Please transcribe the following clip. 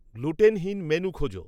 গ্লুটেনহীন menu খোঁজো